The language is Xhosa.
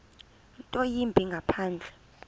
nto yimbi ngaphandle